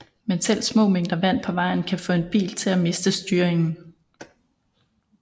Men selv små mængder vand på vejen kan få en bil til at miste styringen